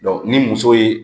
ni muso ye